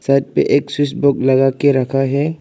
छत पर एक्सिस बुक लगा के रखा है।